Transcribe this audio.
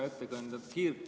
Hea ettekandja!